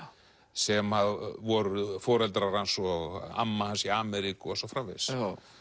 sem voru foreldrar hans og amma hans í Ameríku og svo framvegis